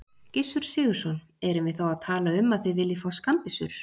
Gissur Sigurðsson: Erum við þá að tala um að þið viljið fá skammbyssur?